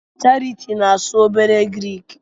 Charity na-asu obere Grik